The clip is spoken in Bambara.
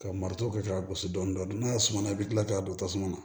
Ka marifa kɛ k'a gosi dɔɔni dɔɔni n'a ye sumana i bi kila k'a don tasuma na